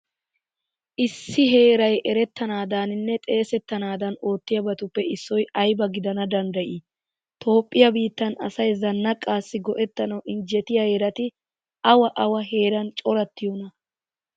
Issi heeray erettanaadaaninne xeesettanaadan oottiyabatuppe issoy ayba gidana danddayii? Toophphiya biittan asay zannaqaassi go"ettanawu injjetiya heerati awa away heeran corattiyonaa?